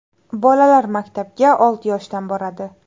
Bolalar maktabga olti yoshda boradi.